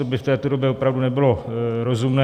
To by v této době opravdu nebylo rozumné.